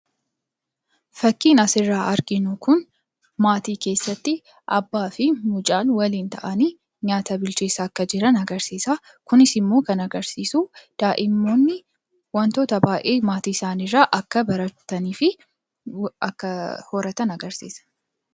Fakkiin asirraa arginu kun maatii keessatti abbaa fi mucaan waliin ta'anii nyaata bilcheessaa akka jiran agarsiisa. Kunis immoo kan agarsiisu daa'imman wantoota baay'ee maatii isaaniirraa akka baratanii fi akka horatan agarsiisa.